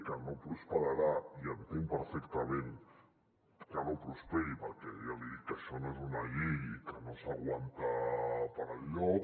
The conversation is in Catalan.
que no prosperarà i entenc perfectament que no prosperi perquè ja li dic que això no és una llei i que no s’aguanta per enlloc